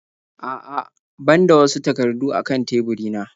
A'a ban da wasu takardu a kan teburina.